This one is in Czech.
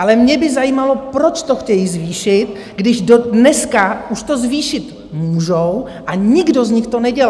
Ale mě by zajímalo, proč to chtějí zvýšit, když dneska už to zvýšit můžou a nikdo z nich to nedělá?